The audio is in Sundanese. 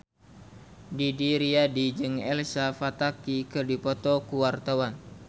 Didi Riyadi jeung Elsa Pataky keur dipoto ku wartawan